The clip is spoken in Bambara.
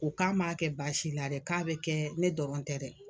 U k'a m'a kɛ basi la dɛ k'a bɛ kɛ ne dɔrɔn tɛ dɛ.